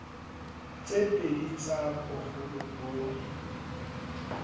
tse pedi tsa boholo bo